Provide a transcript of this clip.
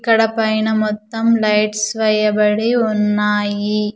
ఇక్కడ పైన మొత్తం లైట్స్ వేయబడి ఉన్నాయి.